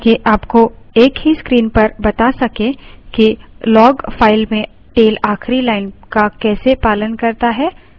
tail आपको एक ही screen पर बता सकें कि log file में tail आखिरी line का कैसे पालन करता है